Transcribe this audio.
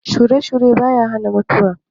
Shure-shure ba ya hana mutuwa.